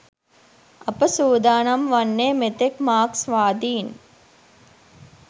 අප සූදානම් වන්නේ මෙතෙක් මාක්ස්වාදීන්